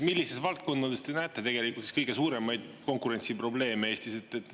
Millistes valdkondades te näete tegelikult kõige suuremaid konkurentsiprobleeme Eestis?